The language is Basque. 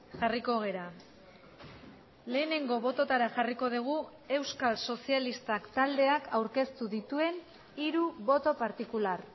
jarriko gara lehenengo bototara jarriko dugu euskal sozialistak taldeak aurkeztu dituen hiru boto partikular